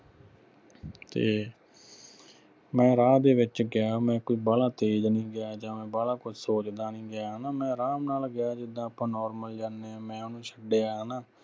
ਤੇ ਮੈਂ ਰਾਹ ਦੇ ਵਿਚ ਗਿਆ ਮੈਂ ਕੋਈ ਬਾਹਲਾ ਤੇਜ ਨਹੀਂ ਗਿਆ ਜਾ ਬਾਹਲਾ ਕੁਛ ਸੋਚਦਾ ਨਹੀਂ ਗਿਆ ਹਣਾ ਮੈਂ ਰਾਮ ਨਾਲ ਗਿਆ ਜਿੱਦਾਂ ਆਪਾ normal ਜਾਨੇ ਆ ਮੈਂ ਓਹਨੂੰ ਛਡਿਆ ਹਣਾ